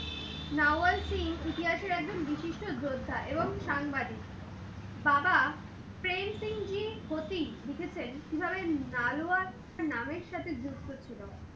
নাওয়ার সিং ইতিহাসের একজন বিশিষ্ট যুদ্ধা এবং সাংবাদিক। বাবা পেন্সিং জি ক্ষতি লিখেছেন যে, কিভাবে নালুয়া নামের সাথে যুক্ত ছিল।